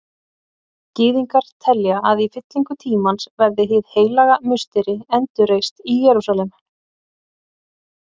Gyðingar telja að í fyllingu tímans verði Hið heilaga musteri endurreist í Jerúsalem.